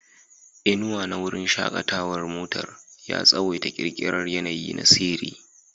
Inuwa na wurin shakatawar motar ya tsawaita ƙirƙirar yanayi na sihiri.